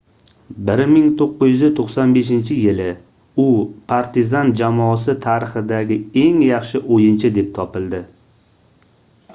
1995-yili u partizan jamoasi tarixidagi eng yaxshi oʻyinchi deb topildi